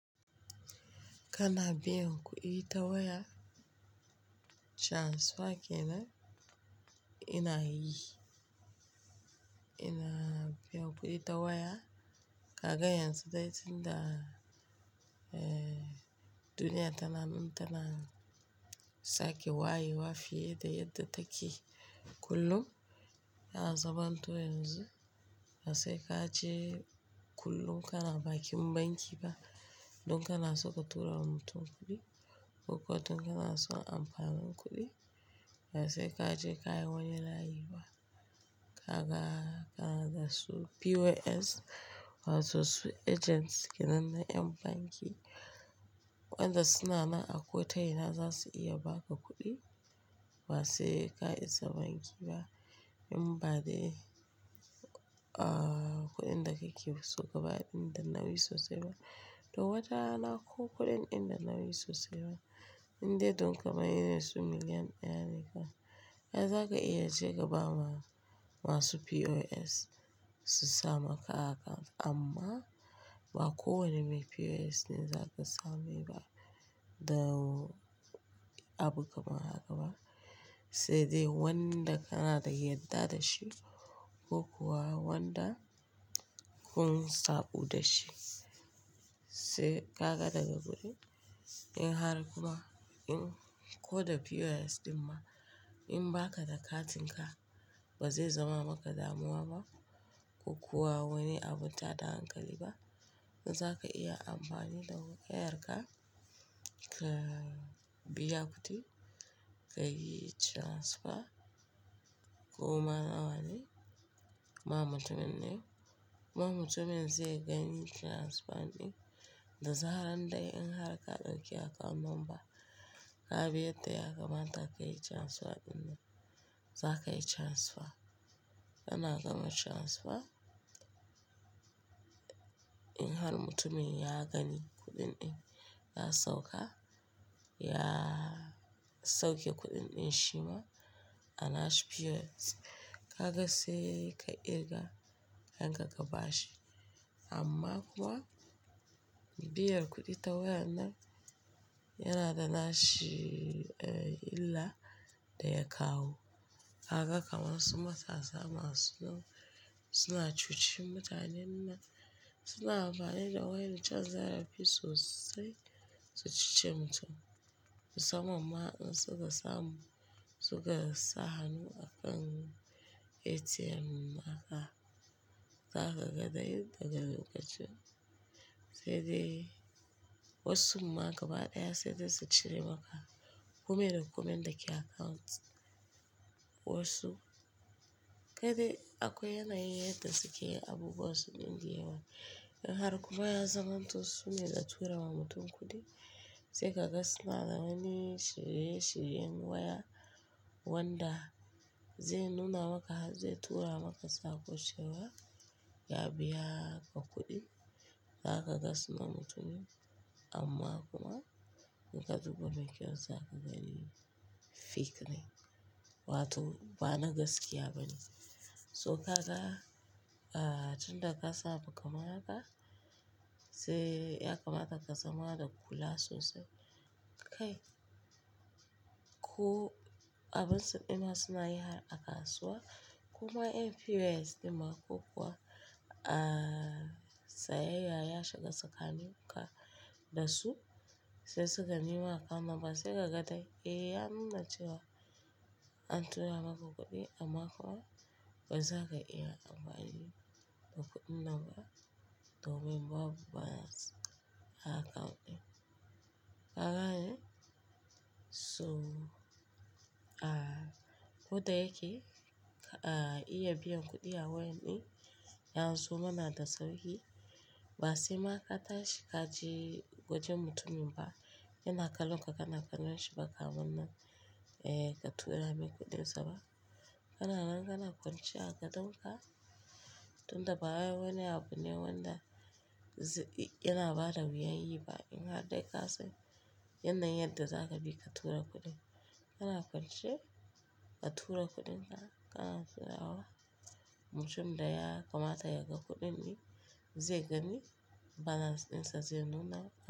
Kana biyan kuɗi ta waya? Transfer ke nan? Ina yi. Ina biyan kuɗi ta waya, ka ga yanzu dai tun da duniya tana, in tana sake wayewa fiye da yadda take kullum, yana zamanto yanzu ba sai ka je kullum kana bakin banki ba don kana so ka tura wa mutum kuɗi ko kuwa don kana son amfani kuɗi. Ba sai ka je ka yi wani layi ba. Kaga, kana da su POS wato su agents kenan na ƴan banki, waɗanda suna nan a kotona za su iya baka kuɗi ba sai ka isa banki ba. In ba dai, kuɗin da kake so ka bayar in da nauyi sosai ba. To wata rana ko kuɗin inda nauyi sosai ba, in dai don kamar irin su miliyan naira ne ka, ai za ka iya je ka ba ma masu POS su sa maka account amma ba kowane mai POS ne za ka same ba da abu kamar haka ba. Sai dai wanda kana da yadda da shi ko kuwa wanda kun sabu da shi. Sai ka ga daga kuɗin in har kuma in ko da POS ɗin ma in baka da katinka ba zai zama maka damuwa ba ko kuwa wani abu tada hankali ba. In za ka iya amfani da wayarka ka biya kuɗi ka yi transfer, koma nawane ma mutumin ne. Kuma mutumin zai gani transfer ɗin da zaran dai in har ka ɗauki account number. Ka bi yadda ya kamata ka yi transfer ɗin nan, za ka yi transfer. Kana gama transfer in har mutumin ya gani kuɗin ɗin ka sauka, ya sauke kuɗin ɗin shi ma a nashi POS, ka ga sai ka kirga kudin ka ba shi. Amma kuma biyan kuɗi ta waya nan yana da nashi illa da ya kawo. Kaga kamar su matasa masu nan suna cuci mutanen, suna amfani da wayancan zarafi sosai su cuce mutum. Musamman ma in suka samu, suka sa hannu a kan ATM naka, za ka ga dai daga lokacin. Sai dai wasu ma gaba ɗaya sai dai su cire maka komai da komai inda ke account. Wasu-- kai dai akwai yanayin yadda suke yi abubuwa su ɗin da yawa. In har kuma ya zama to sune za su tura wa mutum kuɗi, sai ka ga suna dawani shirye-shiryen waya wanda zai nuna maka zai tura maka sakon cewa ya biya ka kuɗin. Za ka ga sunan mutumin amma kuma in ka duba bankin ka za ka gani fake ne wato ba na gaskiya ba ne. So ka ga tun da ka samu kaman haka, sai ya kamata ka zama da kula sosai. Kai ko abin su dinnan suna yi har a kasuwa kuma ƴan POS ɗin ma ko kuwa sayayya ya shiga tsakanin ku da su sai suka nema account number sai ka ga dai eh ya nuna cewa an tura maka kuɗi amma kuma ba za ka iya amfani da kuɗin nan ba domin babu balance a account ɗin. Kagane? So ko dai yake, a iya biyan kuɗi ta wayar ɗin, yazo mana da sauƙi ba sai ma ka tashi ka je wajen mutumin ba. Yana kallon ka kana ganin shi baka wannan ka tura mai kuɗinsa ba. Kana nan kana kwance a gadonka tun da ba wai wani abu ne wanda yana bada wuyan yi ba. In har dai ka san yanayin yadda za ka bi ka tura kuɗin. Kana kwance ka tura kuɗin nan, kana tura wa mutumin da ya kamata yaga kuɗin ɗin zai gani balance ɗinsa zai nuna.